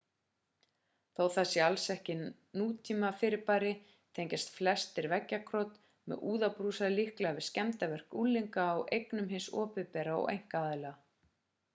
þó það sér alls ekki nútímafyrirbæri tengja flestir veggjakrot með úðabrúsum líklega við skemmdarverk unglinga á eignum hins opinbera og einkaaðila